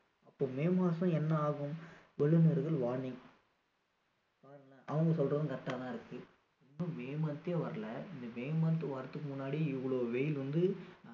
அப்போ மே மாதம் என்ன ஆகும் வல்லுனர்கள் warning பாருங்களேன் அவங்க சொல்றதும் correct டா தான் இருக்கு இன்னும் may month தே வர்ல இந்த may month வர்றதுக்கு முன்னாடியே இவ்ளோ வெயில் வந்து